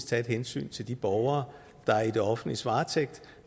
tage et hensyn til de borgere der er i det offentliges varetægt